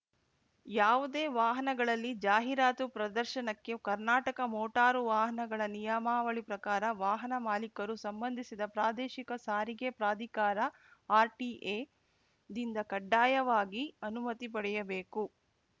ಯಾವುದೇ ವಾಹನಗಳಲ್ಲಿ ಜಾಹೀರಾತು ಪ್ರದರ್ಶನಕ್ಕೆ ಕರ್ನಾಟಕ ಮೋಟಾರು ವಾಹನಗಳ ನಿಯಮಾವಳಿ ಪ್ರಕಾರ ವಾಹನ ಮಾಲೀಕರು ಸಂಬಂಧಿಸಿದ ಪ್ರಾದೇಶಿಕ ಸಾರಿಗೆ ಪ್ರಾಧಿಕಾರಆರ್‌ಟಿಎದಿಂದ ಕಡ್ಡಾಯವಾಗಿ ಅನುಮತಿ ಪಡೆಯಬೇಕು